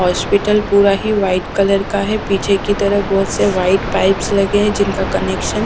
hospital पूरा ही white colour का है पीछे की तरफ़ बहुत से वाइट पाइप्स लगे है जिनका कनेक्शन --